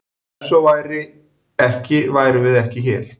Ef svo væri ekki værum við ekki hér!